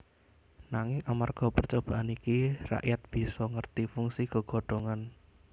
Nanging amarga percobaan iki rakyat bisa ngerti fungsi gegodhongan